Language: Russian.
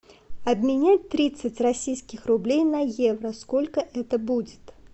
обменять тридцать российских рублей на евро сколько это будет